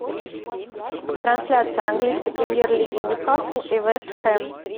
трансляция английской премьер лиги ньюкасл и вест хэм